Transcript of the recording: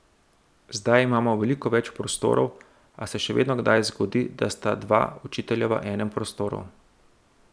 Zdaj imamo veliko več prostorov, a se še vedno kdaj zgodi, da sta dva učitelja v enem prostoru.